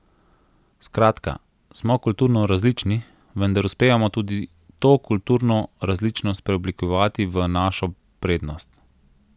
Skratka, smo kulturno različni, vendar uspevamo to kulturno različnost preoblikovati v našo prednost.